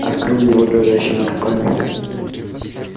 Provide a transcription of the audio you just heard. открыл его дрожащими руками